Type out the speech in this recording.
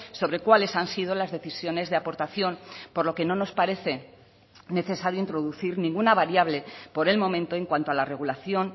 sobre cuáles han sido las decisiones de aportación por lo que no nos parece necesario introducir ninguna variable por el momento en cuanto a la regulación